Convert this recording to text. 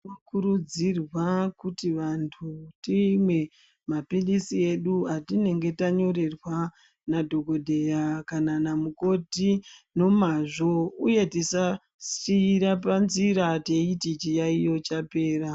Tinokurudzirwa kuti vantu timwe mapilisi edu atinenge tanyorerwa nedhokodheya kana namukoti nomazvo uye tisasira panzira teiti chiyayiyo chapera.